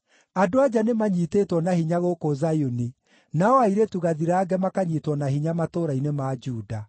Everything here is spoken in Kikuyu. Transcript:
Andũ-a-nja nĩmanyiitĩtwo na hinya gũkũ Zayuni, nao airĩtu gathirange makanyiitwo na hinya matũũra-inĩ ma Juda.